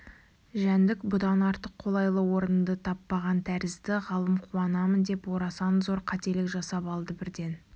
жәндік бұдан артық қолайлы орынды таппаған тәрізді ғалым қуанамын деп орасан зор қателік жасап алды бірден